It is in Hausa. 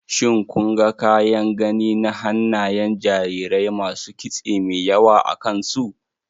Shin, kun ga kyan gani na hannayen jarirai masu kitse mai yawa akan su?